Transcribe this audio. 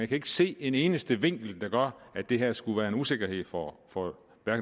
kan ikke se en eneste vinkel der gør at det her skulle være en usikkerhed for for